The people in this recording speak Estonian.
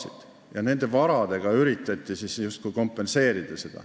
Ometi nende varadega üritati justkui tehtut kompenseerida.